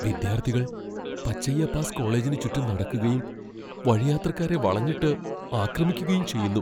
വിദ്യാർത്ഥികൾ പച്ചയ്യപ്പാസ് കോളേജിന് ചുറ്റും നടക്കുകയും, വഴിയാത്രക്കാരെ വളഞ്ഞിട്ട് ആക്രമിക്കുകയും ചെയ്യുന്നു.